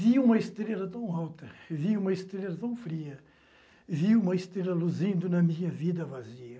Vi uma estrela tão alta, vi uma estrela tão fria, vi uma estrela luzindo na minha vida vazia.